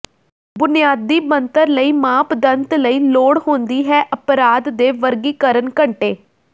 ਬੁਨਿਆਦੀ ਬਣਤਰ ਲਈ ਮਾਪਦੰਡ ਲਈ ਲੋੜ ਹੁੰਦੀ ਹੈ ਅਪਰਾਧ ਦੇ ਵਰਗੀਕਰਨ ਘੰਟੇ